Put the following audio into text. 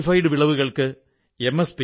വായിച്ചശേഷം തിരികെ നൽകണം